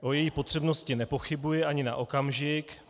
O její potřebnosti nepochybuji ani na okamžik.